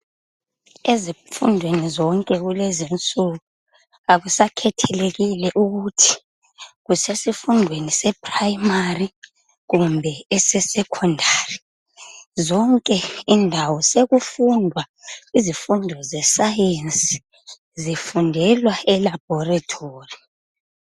Ezifundweni zonke kulezinsuku akusakhethelekile ukuthi usesifundweni seprimary kumbe sesecondary zonke indawo sokufundwa izifundo zescience zifundelwa elaboratory.